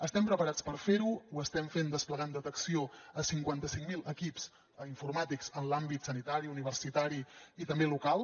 estem preparats per fer ho ho estem fent desplegant detecció a cinquanta cinc mil equips informàtics en l’àmbit sanitari universitari i també local